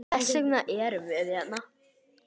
Þess vegna erum við hérna!